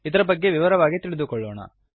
ಇದರ ಬಗ್ಗೆ ವಿವರವಾಗಿ ತಿಳಿದುಕೊಳ್ಳೋಣ